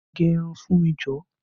Gẹ irun fún mi jọ!